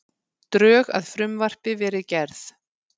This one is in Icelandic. Drög að frumvarpi verið gerð